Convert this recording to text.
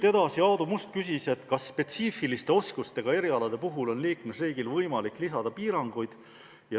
Aadu Must küsis, kas spetsiifiliste oskustega erialade puhul on liikmesriigil võimalik lisada piiranguid.